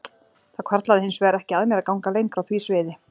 Það hvarflaði hins vegar ekki að mér að ganga lengra á því sviði.